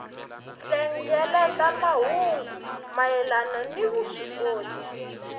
hlengeleta mahungu mayelana ni vuswikoti